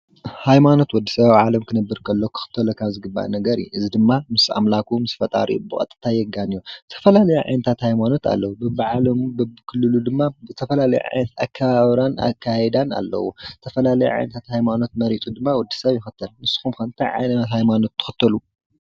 ሃይማኖት ወድ ሰብ ኣብ ዓለም ክነብር ከሎ ክክተሎም ካብ ዝግባእ ነገር እዩ። እዚ ድማ ምስ ኣምላኩ ምስ ፈጣሪኡ ብቀጥታ የጋንዮ። ዝተፈላለዩ ዓይነታት ሃይማኖት ኣለዉ። በቢ ዓለሙ በቢ ክልሉ ድማ ዝተፈላለዩ ዓይነት ኣከባብራን ኣከያይዳን ኣለዉ። ዝተፈላለየ ዓይነታት ሃይማኖት መሪፁ ድማ ወድ-ሰብ ይክተል። ንስኩም ከ እንታይ ዓይነት ሃይማኖት ትክተሉ?